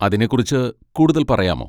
അതിനെ കുറിച്ച് കൂടുതൽ പറയാമോ?